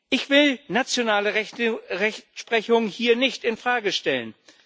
Ich will nationale Rechtsprechung hier nicht in Frage stellen.